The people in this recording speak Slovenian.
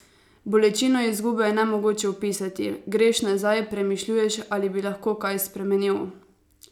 Bolečino izgube je nemogoče opisati: "Greš nazaj, premišljuješ, ali bi lahko kaj spremenil.